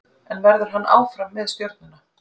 En verður hann áfram með Stjörnuna?